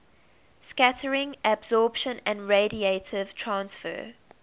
scattering absorption and radiative transfer